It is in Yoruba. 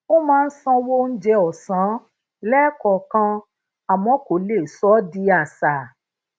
ó máa ń sanwó oúnjẹ ọsán lẹẹkọọkan àmọ kò lè sọ ó di àṣà